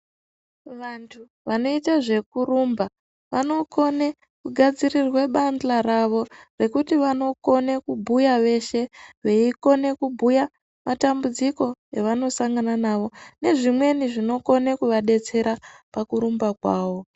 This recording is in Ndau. Vantu vanoite zvekurumba, vanokone kugadzirirwe bandla ravo, rekuti vanokone kubhuya veshe, veikone kubhuya matambudziko evanosangana nawo nezvimweni zvinokone kuvadetsera pakurumba kwawo.